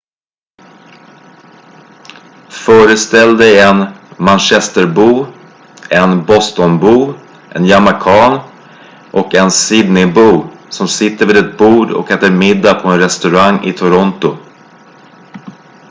föreställ dig en manchesterbo en bostonbo en jamaican och en sydneybo som sitter vid ett bord och äter middag på en restaurang i toronto